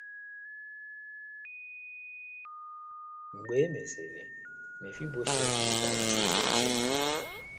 Mgbe e mesịrị, Mefiboshet nwetara nsogbu ọzọ.